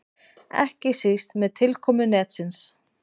Ekki síst með tilkomu netsins.